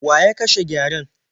Wa ya kashe gyaren?